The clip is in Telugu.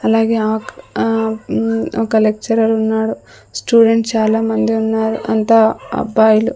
అలాగే ఆ ఒక్ ఆ మ్మ్ ఒక లెక్చరర్ ఉన్నాడు స్టూడెంట్స్ చాలా మంది ఉన్నారు అంతా అబ్బాయిలు.